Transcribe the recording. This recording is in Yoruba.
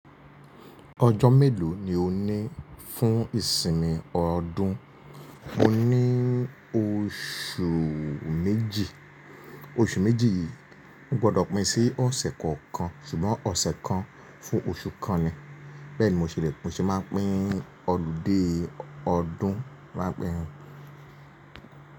Ọjọ́ mélòó ni o ní fún ìsinmi ọdún? Mo ní oṣù méjì, oṣù méjì yìí o gbọdọ̀ pín sí ọ̀sẹ̀ kọ̀ọ̀kan ṣùgbọ́n ọ̀sẹ̀ kan fún oṣù kan ni. Bẹ́ẹ̀ni mo ṣe lè, mo ṣe máa ń pín ọludé ọdún rán pẹran.